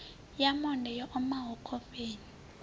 ya monde yo omaho khofheni